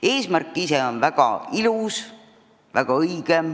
Eesmärk ise on väga ilus, väga õige.